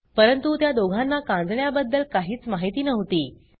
परंतुत्या दोघांना कांजिण्याबद्दल काहीच माहिती नव्हती